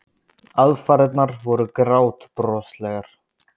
Aðfarirnar voru grátbroslegar.